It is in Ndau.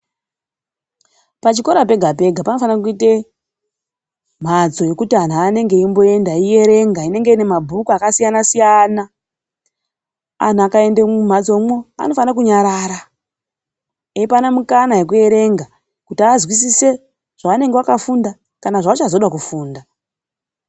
Pachikora pega pega panofana kuite mhatso yekuti antu anenge eimboenda eierenga inenge ine mabhuku akasiyana siyana. Antu akaende mumhatsomwo anofane kunyarara eipane mukana yekuerenga kuti vazwisise zvavakafunda kana kuti zvavachazoda kufunda.